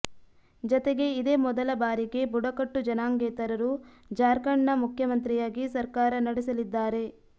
ಜತೆಗೆ ಇದೇ ಮೊದಲ ಬಾರಿಗೆ ಬುಡಕಟ್ಟು ಜನಾಂಗೇತರರು ಜಾರ್ಖಂಡ್ನ ಮುಖ್ಯಮಂತ್ರಿಯಾಗಿ ಸರ್ಕಾರ ನಡೆಸಲಿದ್ದಾರೆ